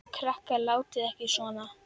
Krakkar látiði ekki svona!